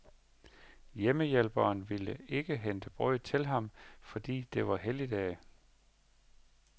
Hjemmehjælperen ville ikke hente brød til ham, fordi det var helligdag.